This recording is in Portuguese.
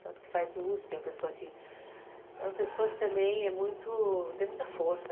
Tanto que faz o uspi, é uma pessoa que também tem muita força.